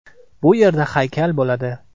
Bu yerda haykal bo‘ladi.